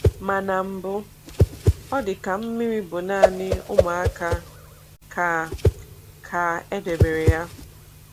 Ma na mbụ, ọ dị ka mmiri bụ naanị ụmụaka ka ka e debere ya.